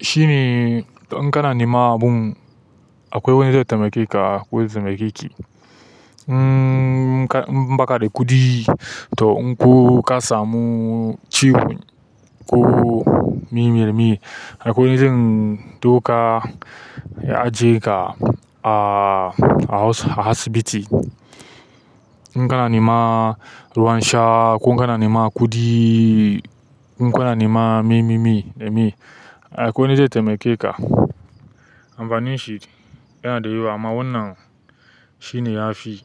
shi ne in kana nema abun akwai wanda zai taimake ka ko zai taimakeki. In, baka da kuɗi to in ko ka samu ciwo ko mimimi akwai zan ɗauka ya aje ka a asibiti in kana neman ruwansha ko kana neman kuɗi ko kana neman me me me akwai wani zai taimake ka. Amfanin shi yana da yawa amma wannan shine yafi.